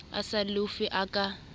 a sa lofe a ka